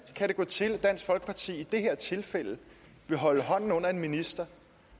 kan det gå til at dansk folkeparti i det her tilfælde vil holde hånden under en minister